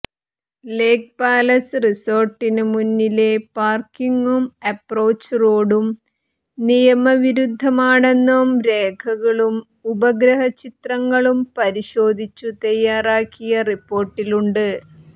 ലേക് Palace റിസോര്ട്ടിന് മുന്നിലെ പാര്ക്കിങ്ങും അപ്രോച്ച് റോഡും നിയമവിരുദ്ധമാണെന്നും രേഖകളും ഉപഗ്രഹ ചിത്രങ്ങളും പരിശോധിച്ചു തയാറാക്കിയ റിപ്പോര്ട്ടിലുണ്ട്